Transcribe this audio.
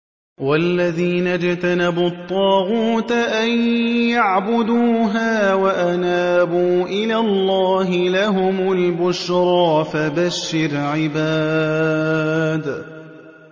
وَالَّذِينَ اجْتَنَبُوا الطَّاغُوتَ أَن يَعْبُدُوهَا وَأَنَابُوا إِلَى اللَّهِ لَهُمُ الْبُشْرَىٰ ۚ فَبَشِّرْ عِبَادِ